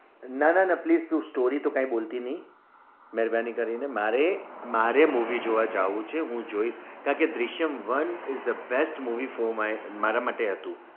નાં નાં please તું story તો કાઈ બોલતી નઈ મહેરબાની કરી ને મારે મારે movie જોવા જાઉં છે હું જોઇસ કારણ કે Drishyam one is the best movie for my માટે હતું